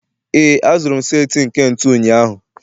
ee, azụrụ m set nke ntu ụnyahụ